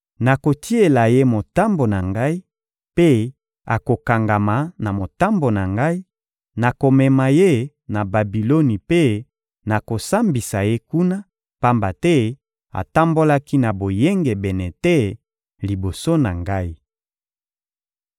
Nakotiela ye motambo na Ngai, mpe akokangama na motambo na Ngai; nakomema ye na Babiloni mpe nakosambisa ye kuna, pamba te atambolaki na boyengebene te liboso na Ngai.